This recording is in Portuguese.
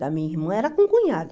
da minha irmã, era com cunhada.